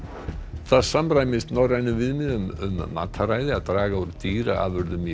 það samræmist norrænum viðmiðum um mataræði að draga úr dýraafurðum í